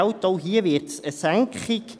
Auch hier wird es eine Senkung geben.